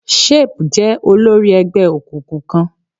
Shape jẹ́ olórí ẹgbẹ́ òkùnkùn kan.